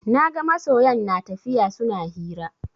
Naga masoyan natafiya suna hira